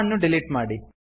ಅನ್ನು ಡಿಲೀಟ್ ಮಾಡಿ